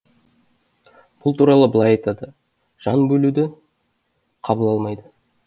бұл туралы былай айтады жан бөлуді қабыл алмайды